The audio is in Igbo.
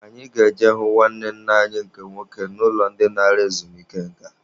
Anyị ga-eje hụ nwanne nna anyị nke nwoke n'ụlọ dị nara ezumike nka.